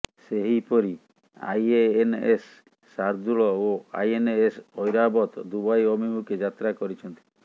ସେହିପରି ଆଇଏଏନ୍ଏଶ ଶାର୍ଦୁଲ ଓ INS Airavat Dubai ଅଭିମୁଖେ ଯାତ୍ରା କରିଛନ୍ତି